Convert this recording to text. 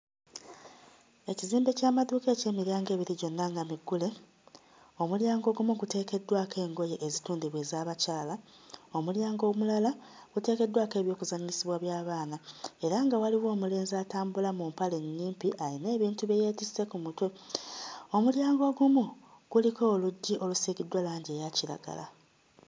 Ekizimbe ky'amaduuka eky'emiryango ebiri gyonna nga miggule, omulyango ogumu guteekeddwako engoye ezitundibwa ez'abakyala, omulyango omulala guteekeddwako eby'okuzannyisibwa by'abaana era nga waliwo omulenzi atambula mu mpale ennyimpi ayina ebintu bye yeetisse ku mutwe, omulyango ogumu kuliko oluggi olusiigiddwa langi eya kiragala.